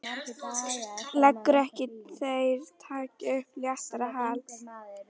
Leggur til að þeir taki upp léttara hjal.